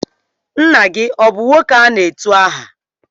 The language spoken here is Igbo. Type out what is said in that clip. Nna gị ọ bụ nwoke a na-etu aha?